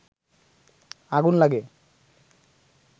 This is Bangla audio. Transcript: আগুন লাগে